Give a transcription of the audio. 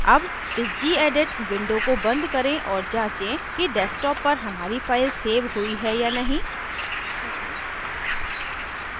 अब इस gedit window को बंद करें और जाँचें कि desktop पर हमारी file check हुई है या नहीं